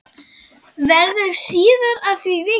Verður síðar að því vikið.